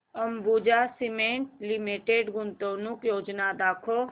Ambuja cement limited गुंतवणूक योजना दाखव